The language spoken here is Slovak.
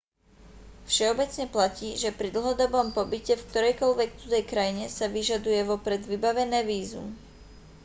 všeobecne platí že pri dlhodobom pobyte v ktorejkoľvek cudzej krajine sa vyžaduje vopred vybavené vízum